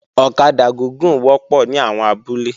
Ọ̀kadà gúgùn wọ́pọ̀ ní àwọn abúlé